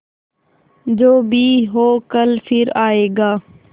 जो भी हो कल फिर आएगा